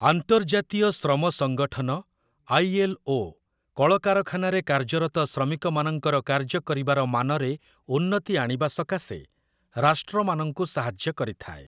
ଆନ୍ତର୍ଜାତୀୟ ଶ୍ରମ ସଂଗଠନ, ଆଇ.ଏଲ୍‌.ଓ., କଳକାରଖାନାରେ କାର୍ଯ୍ୟରତ ଶ୍ରମିକମାନଙ୍କର କାର୍ଯ୍ୟକରିବାର ମାନରେ ଉନ୍ନତି ଆଣିବା ସକାଶେ ରାଷ୍ଟ୍ରମାନଙ୍କୁ ସାହାଯ୍ୟ କରିଥାଏ ।